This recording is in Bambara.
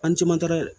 An jɛman tɛ